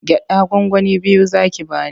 Gyaɗa gwangwani biyu za ki ba ni.